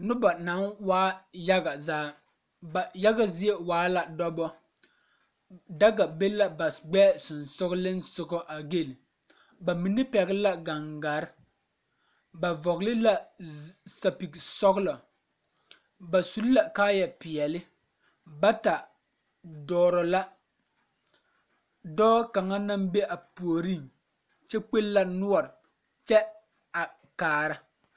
Noba... naŋ waa yaga zaa ba yaga zie waa la dɔba daga be la ba gbɛɛ sɔgsɔliŋsɔgɔ a gel ba mine pɛgl la gaŋgare ba vɔgle la sapige sɔglɔ ba su la kaaya peɛle bata dɔɔrɔ la dɔɔ kaŋ naŋ be a puoriŋ kyakpe la noɔri kyɛ a kaara .